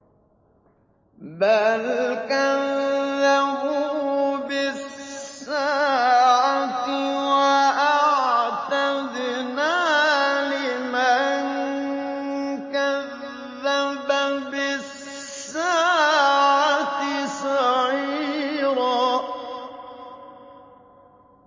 بَلْ كَذَّبُوا بِالسَّاعَةِ ۖ وَأَعْتَدْنَا لِمَن كَذَّبَ بِالسَّاعَةِ سَعِيرًا